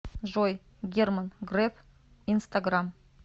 джой герман греф инстаграм